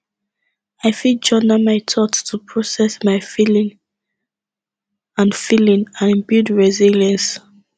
i fit journal my thoughts to process my feelings and feelings and build resilience